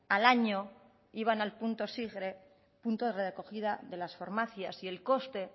al año iban al punto sigre punto de recogida en las farmacias y el coste